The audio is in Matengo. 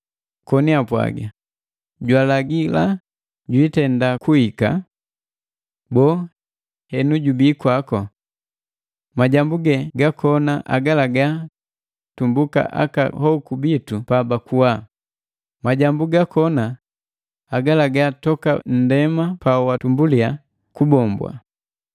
koni apwaga; “Jwalagila jwiitenda kuhika! Boo, henu jubii kwako? Majambu ge gakona agalaga tumbuka aka hoku bitu pa bakuwa, majambu gakona agalagala toka nndema pa watumbulia kubombwa!”